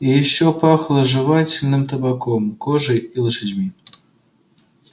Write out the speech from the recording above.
и ещё пахло жевательным табаком кожей и лошадьми